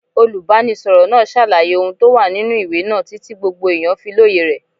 Olùbánisọ̀rọ̀ náà ṣàlàyé ohun tó wà nínú ìwé náà títí gbogbo èèyàn fi lóye rẹ̀.